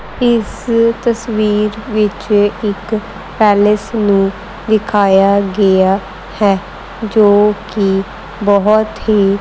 ਇਸ ਤਸਵੀਰ ਵਿੱਚ ਇੱਕ ਪੈਲਸ ਨੂੰ ਵਿਖਾਇਆ ਗਿਆ ਹੈ ਜੋ ਕਿ ਬਹੁਤ ਹੀ--